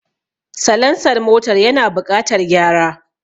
Salansar motar yana buƙatar gyara